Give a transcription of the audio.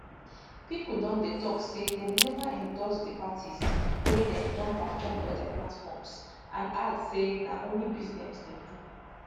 pipo don dey tok say dem neva endorse di parties wey dem don perform for dia platforms and add say na only business dem do